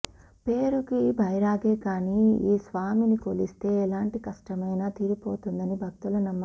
పేరుకి బైరాగే కానీ ఈ స్వామిని కొలిస్తే ఎలాంటి కష్టమైనా తీరిపోతుందని భక్తుల నమ్మకం